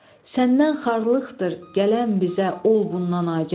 Səndən xarlıqdır gələn bizə ol bundan agah.